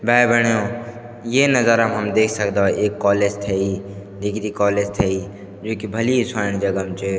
भाई बैण्यों ये नजारा हम देख सकदा एक कॉलेज थेई डिग्री कॉलेज थेई जू की भली स्वाणी जगह म च।